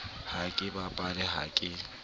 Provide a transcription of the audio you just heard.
ha ke bapale ha ke